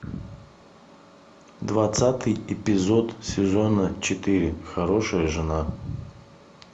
двадцатый эпизод сезона четыре хорошая жена